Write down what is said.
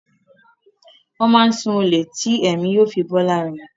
Wón máá n sun olè tí èmí yóò fi bó lára rè.